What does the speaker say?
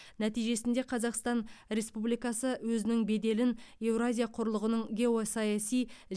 нәтижесінде қазақстан республикасы өзінің беделін еуразия құрлығының геосаяси